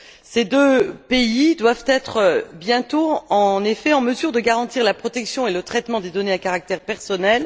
Ces deux pays doivent être bientôt, en effet, en mesure de garantir la protection et le traitement des données à caractère personnel.